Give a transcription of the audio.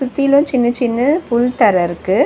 சுத்திலு சின்ன சின்ன புல் தர இருக்கு.